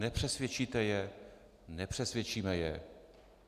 Nepřesvědčíte je, nepřesvědčíme je.